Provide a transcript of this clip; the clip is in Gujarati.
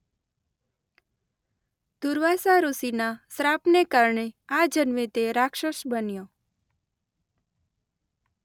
દુર્વાસા ઋષિના શ્રાપને કારણે આ જન્મે તે રાક્ષસ બન્યો.